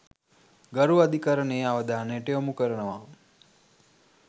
ගරු අධිකරණයේ අවධානයට යොමු කරනවා.